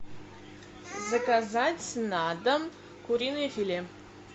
заказать на дом куриное филе